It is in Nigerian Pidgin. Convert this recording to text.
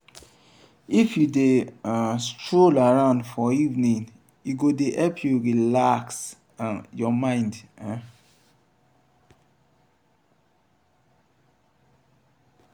if you dey um stroll around for evening e go dey help you relax um your mind. um